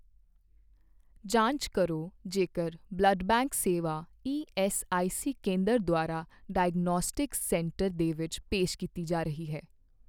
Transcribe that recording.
ਜਾਂਚ ਕਰੋ ਜੇਕਰ ਬਲੱਡ ਬੈਂਕ ਸੇਵਾ ਈਐੱਸਆਈਸੀ ਕੇਂਦਰ ਦੁਆਰਾ ਡਾਇਗਨੌਸਟਿਕਸ ਸੈਂਟਰ ਦੇ ਵਿੱਚ ਪੇਸ਼ ਕੀਤੀ ਜਾ ਰਹੀ ਹੈ।